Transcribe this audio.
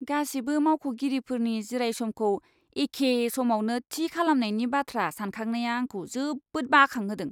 गासिबो मावख'गिरिफोरनि जिरायसमखौ एखे समावनो थि खालामनायनि बाथ्रा सानखांनाया आंखौ जोबोद बाखांहोदों।